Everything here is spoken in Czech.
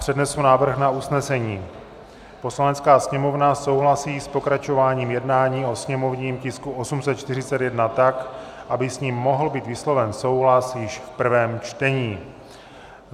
Přednesu návrh na usnesení: "Poslanecká sněmovna souhlasí s pokračováním jednání o sněmovním tisku 841 tak, aby s ním mohl být vysloven souhlas již v prvém čtení.